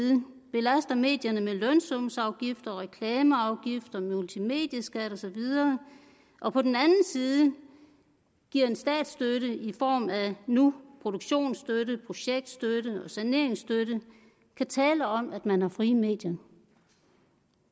belaster medierne med lønsumsafgifter reklameafgifter multimedieskat og så videre og på den anden side giver statsstøtte i form af nu produktionsstøtte projektstøtte og saneringsstøtte kan tale om at man har frie medier